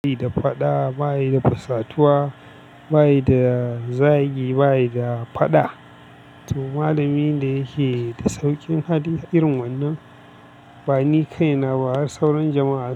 Baya da faɗa, baya da fusatuwa, baya da zagi, baya da faɗa. To malamin da yake da sauƙin hali irin wannan, ba ni kaina ba har sauran jama'a.